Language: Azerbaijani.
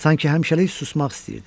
Sanki həmişəlik susmaq istəyirdi.